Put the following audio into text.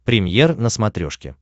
премьер на смотрешке